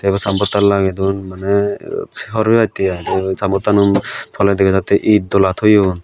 yot san bottan lagey don maneh hawr pebattey ai san bottanaw toley dega jattey itdola toyon.